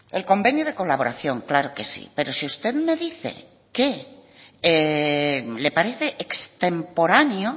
el convenio de colaboración claro que sí pero si usted me dice que le parece extemporáneo